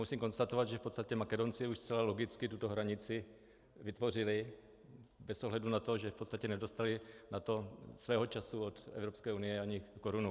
Musím konstatovat, že v podstatě Makedonci už zcela logicky tuto hranici vytvořili bez ohledu na to, že v podstatě nedostali na to svého času od Evropské unie ani korunu.